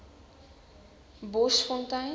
boschfontein